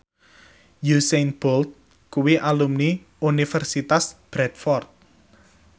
Usain Bolt kuwi alumni Universitas Bradford